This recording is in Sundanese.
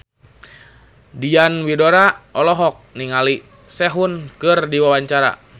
Diana Widoera olohok ningali Sehun keur diwawancara